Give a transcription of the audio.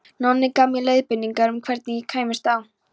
Nonni gaf mér leiðbeiningar um hvernig ég kæmist á